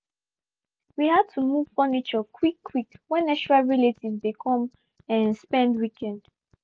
we had to move furniture quick quick when extra relatives dey come um spend weekend